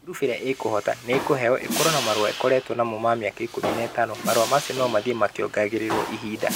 Ngurubu ĩria ekohoota nĩ ekorewo ĩkorwo na marũa ikoretwo namo ma mĩaka ikũmi na ĩtano. Marũa macio no mathiĩ makĩongereragwo ihinda.